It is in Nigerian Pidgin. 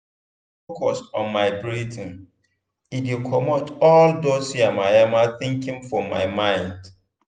i dey focus on my breathing e dey comot all dos yamamaya thinking for my mind.